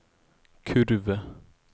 kurve